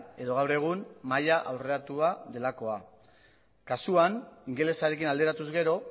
edo gaur egun maila aurreratua delakoa kasuan ingelesarekin alderatuz gero